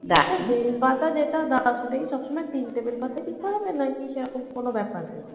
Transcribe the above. bell পাতা যেটা দাও সেটা কি সবসময় তিনটে বেল পাতাই দিতে হবে নাকি সেরকম কোনো ব্যপার নেই